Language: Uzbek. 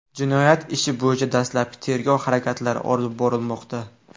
Jinoyat ishi bo‘yicha dastlabki tergov harakatlari olib borilmoqda.